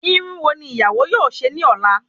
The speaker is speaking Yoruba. Irun wo ni ìyàwó yóò ṣe ní ola